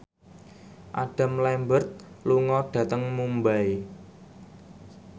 Adam Lambert lunga dhateng Mumbai